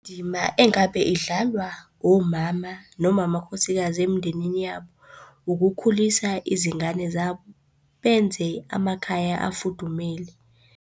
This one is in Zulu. Indima engabe idlalwa womama noma amakhosikazi emndenini yabo, ukukhulisa izingane zabo benze amakhaya afudumele.